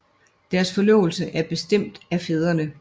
Deres forlovelse er bestemt af fædrene